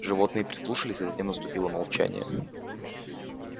животные прислушались а затем наступило молчание